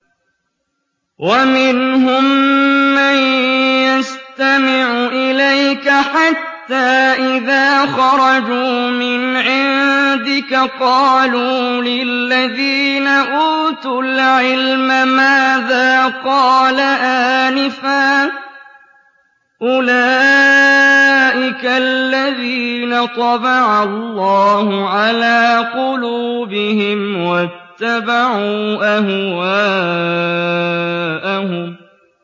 وَمِنْهُم مَّن يَسْتَمِعُ إِلَيْكَ حَتَّىٰ إِذَا خَرَجُوا مِنْ عِندِكَ قَالُوا لِلَّذِينَ أُوتُوا الْعِلْمَ مَاذَا قَالَ آنِفًا ۚ أُولَٰئِكَ الَّذِينَ طَبَعَ اللَّهُ عَلَىٰ قُلُوبِهِمْ وَاتَّبَعُوا أَهْوَاءَهُمْ